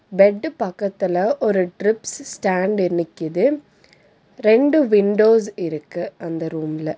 Bed பக்கத்துல ஒரு drips stand நிக்கிது ரெண்டு விண்டோஸ் இருக்கு அந்த ரூம்ல .